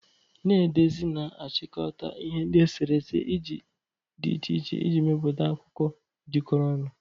Na-edezi na-achịkọta ihe ndi esere ese di iche iche iji mepụta akụkọ jikọrọ ọnụ.